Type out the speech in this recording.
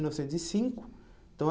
Mil novecentos e cinco. Então, a